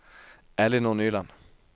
Ellinor Nyland